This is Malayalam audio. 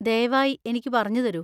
ദയവായി എനിക്ക് പറഞ്ഞുതരൂ.